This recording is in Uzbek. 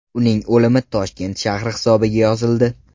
Uning o‘limi Toshkent shahri hisobiga yozildi.